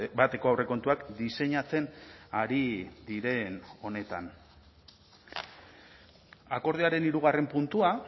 bateko aurrekontuak diseinatzen ari diren honetan akordioaren hirugarren puntua